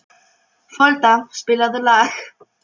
Beygðir krakkar, beygluð skilaboð og bjagað fas.